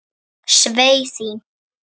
Svei því.